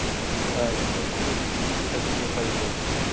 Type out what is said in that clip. to actually এইটো business এটা কৰিব পাৰিব এইটো